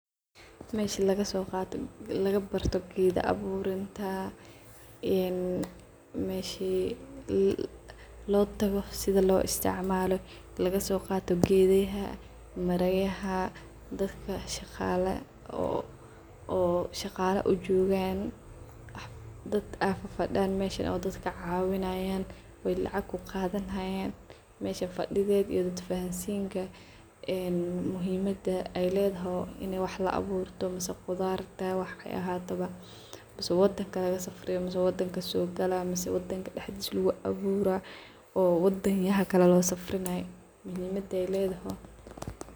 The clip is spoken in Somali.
Meesha lagasogaato lagabarto geeda abuuranta een meeshi loo tago sidhii loo isticmalo lagasogaato geedhaha marayaha daadka shagala oo shagala ujogan daad aa fadiyan mesha daadka cawinayan oo lacaq kugadhanayan mesha fadidhedha iyo fahansinka muhiim mada aay ledahay inaa wax la aburto mise qudharta waxay ahataba mise wadanka lagasafriyo mise wadanka sogala mise wadanka daxdiisa loga abuura oo wadanyaha kala losafrinayo muhiim mada ay ledahay.